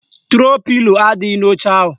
Tro pilo adịghị n'oche ahụ